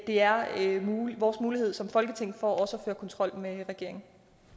det er vores mulighed for som folketing også at føre kontrol med regeringen